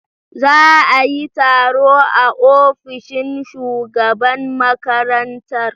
Za a yi taro a ofishin shugaban makarantar.